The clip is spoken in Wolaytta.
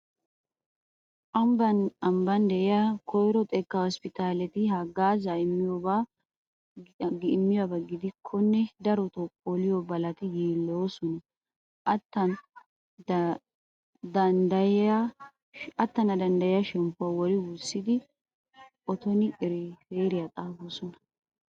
Ambban ambban de'iya koyro xekkaa hosppitaaleti haggaazaa immiyaba gidikkonne darotoo poliyo balati yiilloyoosona. Attana danddayiya shemppuwa wori wurssidi otoni iriifeeraaliya xaafoosona.